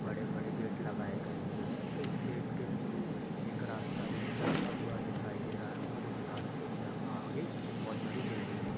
बड़े-बड़े गेट लगाऐ गए हुए हैं इस गेट के थ्रू एक रास्ता उ जाता हुआ दिखाई दे रहा है और इस रास्ते के आगे बहुत बड़ी बिल्डिंगें हैं।